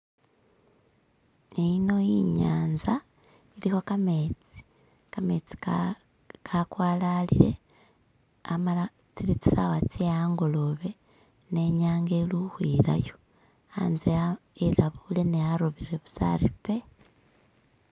ino inyanza ilikho kametsi, kametsi kakwalalile amala tsili tsisawa tseangolobe nenyanga ili uhwilayo anze elabule ne arobele busa ari pe